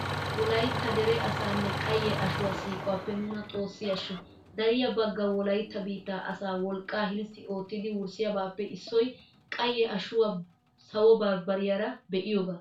Wolaytta dere asaanne qayye ashuwa siiquwappe nuna xoossi ashsho! Dariya bagga wolaytta biittaa asaa wolqqaa hilssi oottidi wurssiyabaappe issoy qayye ashuwa sawo bambbariyara be'iyogaa.